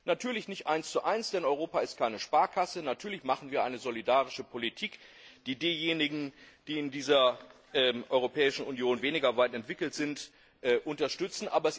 Natürlich nicht 11, denn Europa ist keine Sparkasse, und natürlich machen wir eine solidarische Politik, die diejenigen, die in der Europäischen Union weniger weit entwickelt sind, unterstützt.